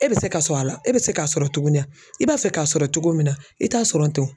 E bɛ se ka sɔrɔ a la e bɛ se k'a sɔrɔ tuguni i b'a fɛ k'a sɔrɔ cogo min na i t'a sɔrɔ ten